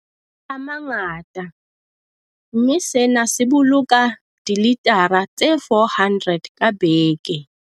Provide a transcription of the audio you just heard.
a mangata, mme sena se boloka dilitara tse 400 ka beke.